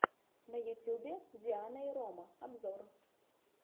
на ютубе диана и рома обзор